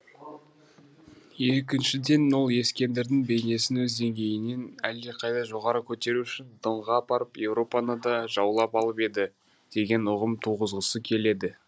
екіншіден ол ескендірдің бейнесін өз деңгейінен әлдеқайда жоғары көтеру үшін донға апарып еуропаны да жаулап алып еді деген ұғым туғызғысы келеді